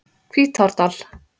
Hvítárdal